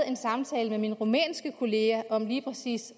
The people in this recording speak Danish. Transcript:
en samtale med min rumænske kollega om lige præcis